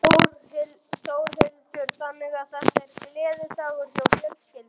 Þórhildur: Þannig að þetta er gleðidagur hjá fjölskyldunni?